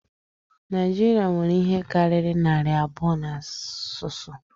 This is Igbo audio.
Naịjirịa nwere ihe karịrị narị abụọ na asụsụ